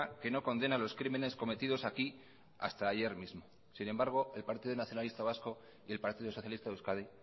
que no condena los crímenes cometidos aquí hasta ayer mismo sin embargo el partido nacionalista vasco y el partido socialista de euskadi